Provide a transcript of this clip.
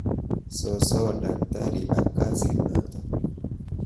Sosoo daktari ak kasinata.